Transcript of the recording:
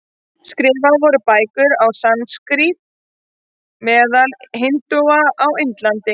Skrifaðar voru bækur á sanskrít meðal hindúa á Indlandi.